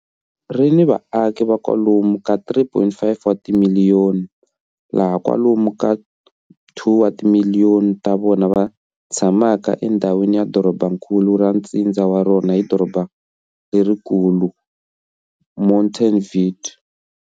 Ri ni vaaki va kwalomu ka 3,4 wa timiliyoni, laha kwalomu ka 2 wa timiliyoni ta vona va tshamaka endhawini ya dorobankulu ra ntsindza wa rona ni doroba lerikulu, Montevideo.